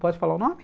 Pode falar o nome?